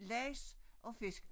Laks og fisk